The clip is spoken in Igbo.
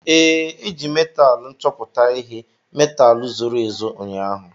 Ee, e ji metaalu nchọpụta ihe metaalu zoro ezo ụnyaahụ.